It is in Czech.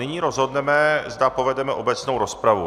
Nyní rozhodneme, zda povedeme obecnou rozpravu.